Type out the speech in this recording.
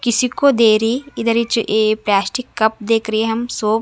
किसी को दे रह इधर नीचे प्लास्टिक कप देख रही है हम--